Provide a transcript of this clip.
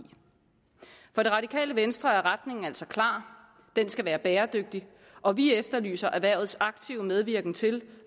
for radikale venstre er retningen altså klar den skal være bæredygtig og vi efterlyser erhvervets aktive medvirken til